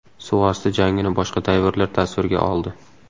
Suvosti jangini boshqa dayverlar tasvirga oldi.